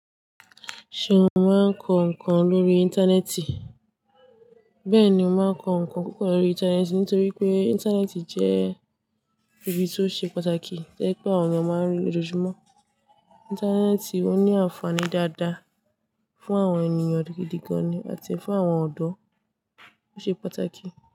Ṣé o máa ń kọ ǹnkan lórí Íńtánẹ́ẹ̀tì? Bẹ́ẹ̀ni mo máa ń kọ ǹnkan púpọ̀ lórí Íńtánẹ́ẹ̀tì nítorí pé Íńtánẹ́ẹ̀tì jẹ́ ibi tó ṣe pàtàkì to yẹ́ pe àwọn èèyàn máa ń rí lojojúmọ́. Íńtánẹ́ẹ̀tì ò ní àǹfààní dáadáa fún àwọn ènìyàn gidi gan-an ni àti fún àwọn ọ̀dọ́ ó ṣe pàtàkì.